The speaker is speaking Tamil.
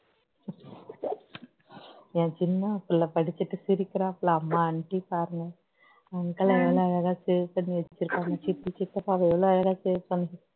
என் சின்னப்புள்ள படிச்சிட்டு சிரிக்கிறாப்புள அம்மா aunty பாருங்க uncle ஐ எவ்வளவு அழகா save பண்ணி வச்சிருக்காங்க சித்தி சித்தப்பாவை எவ்வளவு அழகா save பண்ணி வச்சிருக்காங்க